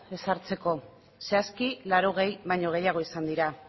hartzeko zehazki laurogei baino gehiago izan dira